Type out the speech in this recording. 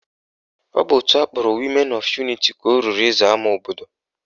Ọ bụ òtù akpọrọ Women of Unity ka o ruru ịza ama obodo